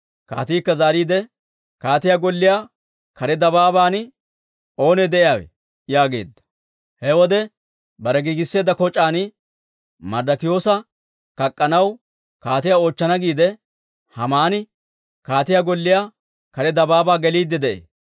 Kaatiikka zaariide, «Kaatiyaa golliyaa kare dabaaban oonee de'iyaawe?» yaageedda. He wode bare giigisseedda koc'aan Marddikiyoosa kak'k'anaw, kaatiyaa oochchana giide, Haamani kaatiyaa golliyaa kare dabaabaa geliidde de'ee.